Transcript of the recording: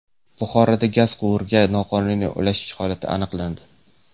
Buxoroda gaz quvuriga noqonuniy ulanish holati aniqlandi.